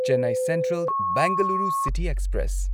Chennai central Bengaluru city express